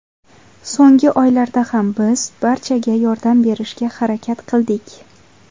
So‘nggi oylarda ham biz barchaga yordam berishga harakat qildik.